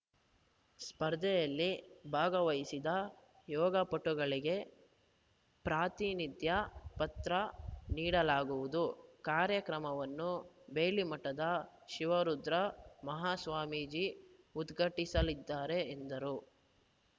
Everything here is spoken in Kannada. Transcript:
ಸ್ಪರ್ಧೆಯಲ್ಲಿ ಭಾಗವಹಿಸಿದ ಯೋಗಪಟುಗಳಿಗೆ ಪ್ರಾತಿನಿಧ್ಯ ಪತ್ರ ನೀಡಲಾಗುವುದು ಕಾರ್ಯಕ್ರಮವನ್ನು ಬೇಲಿಮಠದ ಶಿವರುದ್ರ ಮಹಾಸ್ವಾಮೀಜಿ ಉದ್ಘಾಟಿಸಲಿದ್ದಾರೆ ಎಂದರು